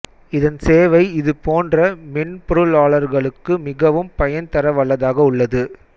இதன் சேவை இது போன்ற மென்பொருளாளர்களுக்கு மிகவும் பயன் தர வல்லதாக உள்ளது